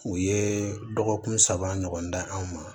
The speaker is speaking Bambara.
U ye dɔgɔkun saba ɲɔgɔn da an ma